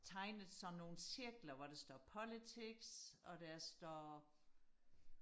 tegnet sådan nogle cirkler hvor der står politics og der står